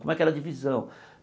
Como é que era a divisão?